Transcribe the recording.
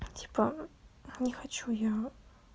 типа не хочу я